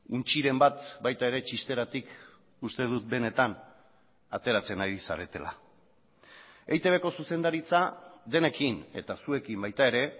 untxiren bat baita ere txisteratik uste dut benetan ateratzen ari zaretela eitb ko zuzendaritza denekin eta zuekin baita ere